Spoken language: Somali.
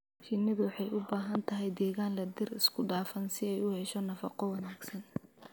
Shinnidu waxay u baahan tahay deegaan leh dhir isku dhafan si ay u hesho nafaqo wanaagsan.